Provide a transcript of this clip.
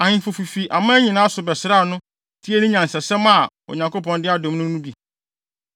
Ahemfo fifi aman nyinaa so bɛsraa no, tiee ne nyansasɛm a Onyankopɔn de adom no no bi.